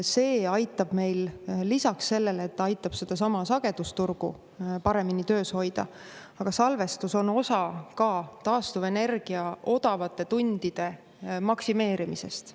See aitab meil lisaks sellele, et ta aitab sedasama sagedusturgu paremini töös hoida, aga salvestus on osa ka taastuvenergia odavate tundide maksimeerimisest.